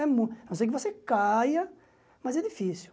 A não ser que você caia, mas é difícil.